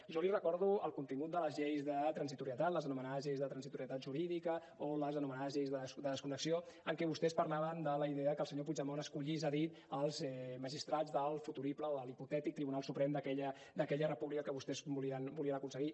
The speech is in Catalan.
jo li recordo el contingut de les lleis de transitorietat les anomenades lleis de transitorietat jurídica o les anomenades lleis de desconnexió en què vostès parlaven de la idea que el senyor puigdemont escollís a dit els magistrats del futurible o l’hipotètic tribunal suprem d’aquella república que vostès volien aconseguir